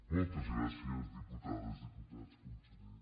moltes gràcies diputades diputats conseller